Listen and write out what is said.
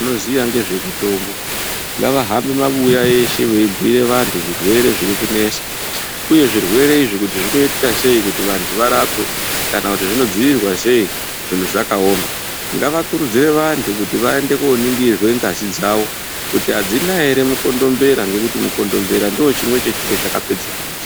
Vanoziya ngezvemutombo ngavahambe mabuya eshe veibire vantu zvirwere zvirikunesa uye zvirwere izvi kuti zvinoitika sei kuti vantu varapwe kana kuti zvinodzivirirwa sei zvinhu zvakaoma, ngavakurdzire vantu kuti vaende koningirwe ngazi dzawo kuti adzina ere mukondombera ngekuti mukondombera ndochimwe chechiro chakapedze mizi.